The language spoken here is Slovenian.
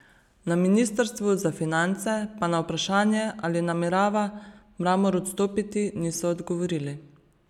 Na ministrstvu za finance pa na vprašanje, ali namerava Mramor odstopiti, niso odgovorili.